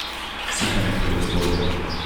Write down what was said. Sikanje pred eksplozijo.